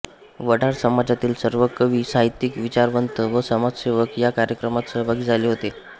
वडार समाजातील सर्व कवी साहित्यिक विचारवंत व समाजसेवक ह्या कार्यक्रमात सहभागी झाले होते